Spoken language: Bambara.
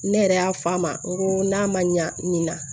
Ne yɛrɛ y'a fɔ a ma n ko n'a ma ɲɛ nin na